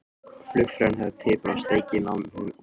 Flugfreyjan hafði piprað steikina of mikið.